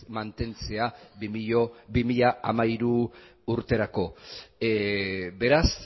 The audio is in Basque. mantentzea bi mila hamairu urterako beraz